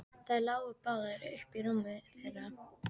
Þær lágu báðar uppí rúminu þeirra.